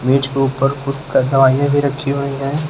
मेज के ऊपर कुछ दवाइयां भी रखी हुई हैं।